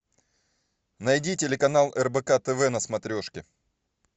найди телеканал рбк тв на смотрешке